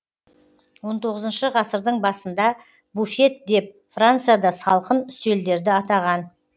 он тоғызыншы ғасырдың басында буфет деп францияда салқын үстелдерді атаған